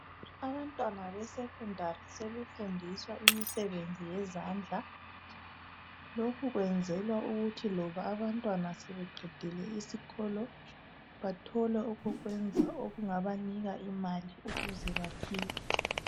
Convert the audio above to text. Abantwana beSekhondari sebefundiswa imisebenzi yezandla. Lokhu kwenzelwa ukuthi loba abantwana sebeqedile isikolo bathole okokwenza okungabanika imali ukuze baphile.